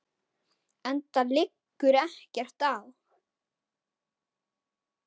Enda liggur ekkert á.